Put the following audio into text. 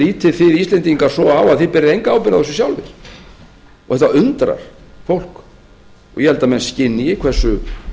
lítið þið íslendingar svo á að þið berið enga ábyrgð á þessu sjálfir þetta undrar fólk og ég held að menn skynji hversu